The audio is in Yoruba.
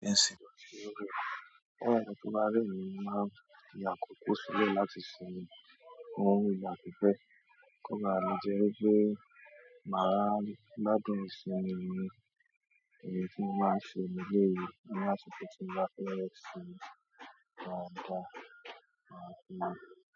Ẹ̀sìn. Óun ti máa rí mi máa ya kòkó sílẹ̀ láti simiu fún ìgbà pípẹ́. Kó baà le jẹ́ wípé màá ládùn ìsimi yẹn, èyí tí mo máa ń ṣe leleyii ni àkókò tí n bá fẹ́ sùn dáadáa.